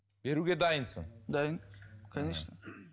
беруге дайынсың дайын конечно